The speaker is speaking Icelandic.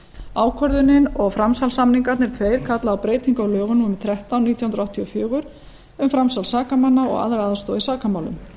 ákvörðunin og framsalssamningarnir tveir kalla á breytingar á lögum númer þrettán nítján hundruð áttatíu og fjögur um framsal sakamanna og aðra aðstoð í sakamálum